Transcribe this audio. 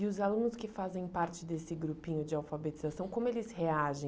E os alunos que fazem parte desse grupinho de alfabetização, como eles reagem?